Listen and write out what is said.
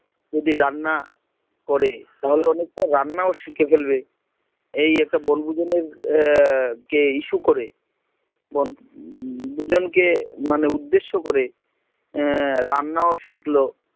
যদি রান্না করে অনেকটা রান্না শিখে ফেলবে, এই একটা বনভোজনের কে issue করে, পুজনকে মানে উদ্দেশ্য করে, এ রান্নাও শিখলো